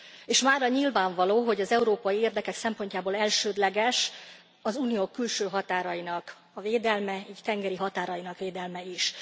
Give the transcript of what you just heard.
És mára nyilvánvaló, hogy az európai érdekek szempontjából elsődleges az Unió külső határainak a védelme, így tengeri határainak védelme is.